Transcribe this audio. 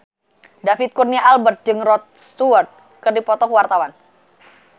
David Kurnia Albert jeung Rod Stewart keur dipoto ku wartawan